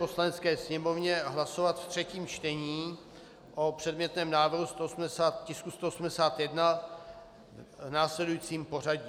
Poslanecké sněmovně hlasovat v třetím čtení o předmětném návrhu tisku 181 v následujícím pořadí.